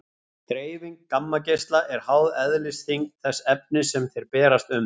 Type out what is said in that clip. Dreifing gammageisla er háð eðlisþyngd þess efnis sem þeir berast um.